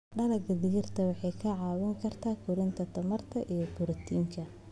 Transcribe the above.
Dalagga digirta waxay ka caawin karaan kordhinta tamarta iyo borotiinka.